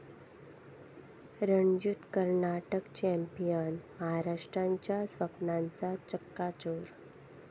Ranjit Karnataka champion, महाराष्ट्राच्या स्वप्नांचा चक्काचूर